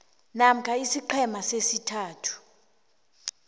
namkha isiqhema sesithathu